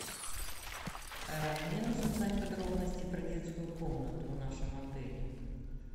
мне нужно узнать подробности про детскую комнату в нашем отеле